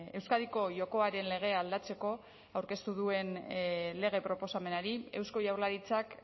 euskadiko jokoaren legea aldatzeko aurkeztu duen lege proposamenari eusko jaurlaritzak